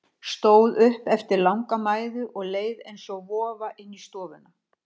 Stóð upp eftir langa mæðu og leið eins og vofa inn í stofuna.